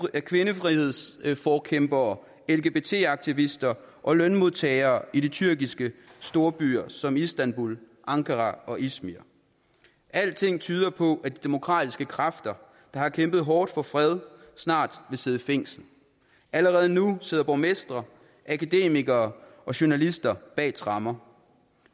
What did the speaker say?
af kvindefrihedsforkæmpere lgbt aktivister og lønmodtagere i de tyrkiske storbyer som istanbul ankara og izmir alting tyder på at de demokratiske kræfter der har kæmpet hårdt for fred snart vil sidde i fængsel allerede nu sidder borgmestre akademikere og journalister bag tremmer